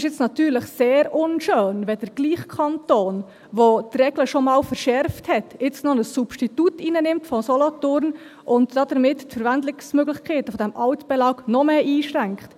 Nun ist es natürlich sehr unschön, wenn der gleiche Kanton, der die Regeln schon mal verschärft hat, nun noch ein Substitut von Solothurn hereinnimmt und damit die Verwendungsmöglichkeiten des Altbelags noch mehr einschränkt.